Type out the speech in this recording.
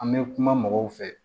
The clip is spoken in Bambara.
An bɛ kuma mɔgɔw fɛ